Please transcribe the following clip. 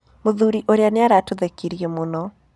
Mũthuri ũrĩa nĩ aratũthekirie mũno.